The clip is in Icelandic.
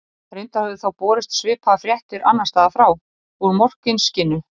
Reyndar höfðu þá borist svipaðar fréttir annars staðar frá, úr Morkinskinnu.